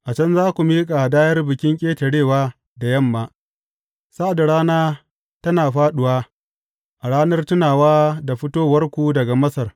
A can za ku miƙa hadayar Bikin Ƙetarewa da yamma, sa’ad da rana tana fāɗuwa, a ranar tunawa da fitowarku daga Masar.